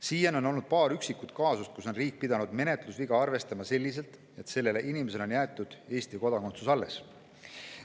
Siiani on olnud paar üksikut kaasust, kui riik on pidanud menetlusviga arvestama selliselt, et sellele inimesele on jäetud Eesti kodakondsus alles.